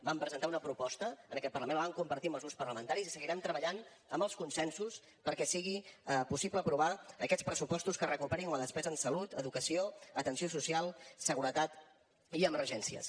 vam presentar una proposta en aquest parlament la vam compartir amb els grups parlamentaris i seguirem treballant amb els consensos perquè sigui possible aprovar aquests pressupostos que recuperin la despesa en salut educació atenció social seguretat i emergències